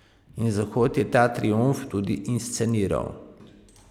In Zahod je ta triumf tudi insceniral.